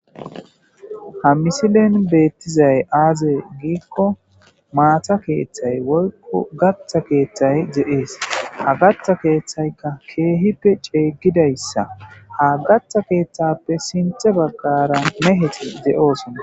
ha misilen beettizay aaze giikko maata keeththay woykko gatha keeththay ze7ees ha gatha keeththaykka keehippe ceeyggidayssa ha gaththa keeththappe sinthe baggara meheti ze7oosona